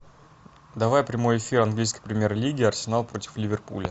давай прямой эфир английской премьер лиги арсенал против ливерпуля